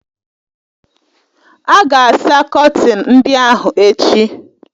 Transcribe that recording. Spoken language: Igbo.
A ga-asa kọtin ndị ahụ echi